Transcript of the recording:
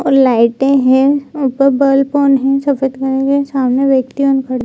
और लाइटे है ऊपर बल्ब ऑन है सफेद कलर के सामने व्यक्ति ऑन खड़े --